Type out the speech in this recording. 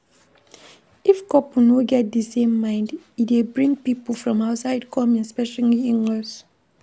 If couple no get di same mind e dey bring pipo from outside come especially inlaws